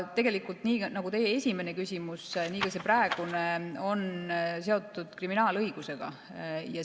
Tegelikult, nagu teie esimene küsimus nii ka see praegune on seotud kriminaalõigusega.